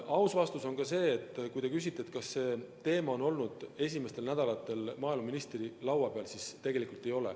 Aus vastus on ka see, kui te küsite, kas see teema on olnud esimestel töönädalatel maaeluministri laua peal, et tegelikult ei ole.